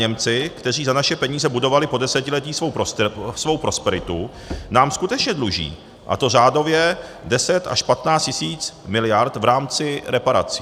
Němci, kteří za naše peníze budovali po desetiletí svou prosperitu, nám skutečně dluží, a to řádově 10 až 15 tisíc miliard v rámci reparací.